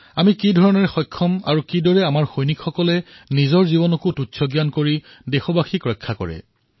আমি কিমান সক্ষম আৰু কিদৰে আমাৰ প্ৰাণ সংকটত পেলাই আমি দেশবাসীৰ ৰক্ষা কৰোঁ